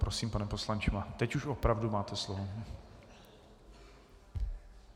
Prosím, pane poslanče, teď už opravdu máte slovo.